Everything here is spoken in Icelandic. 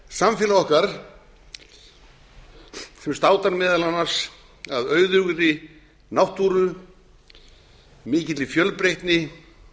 samfélag okkar sem státar meðal annars af auðugri náttúru mikilli fjölbreytni